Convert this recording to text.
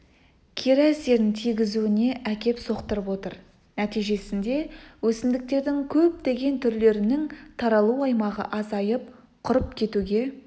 кері әсерін тигізуіне әкеп соқтырып отыр нәтижесінде өсімдіктердің көптеген түрлерінің таралу аймағы азайып құрып кетуге